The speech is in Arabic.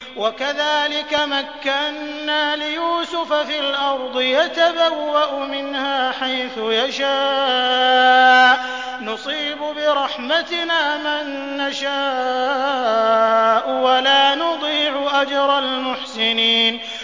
وَكَذَٰلِكَ مَكَّنَّا لِيُوسُفَ فِي الْأَرْضِ يَتَبَوَّأُ مِنْهَا حَيْثُ يَشَاءُ ۚ نُصِيبُ بِرَحْمَتِنَا مَن نَّشَاءُ ۖ وَلَا نُضِيعُ أَجْرَ الْمُحْسِنِينَ